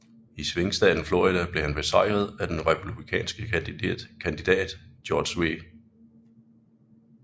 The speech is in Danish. I svingstaten Florida blev han besejret af den republikanske kandidat George W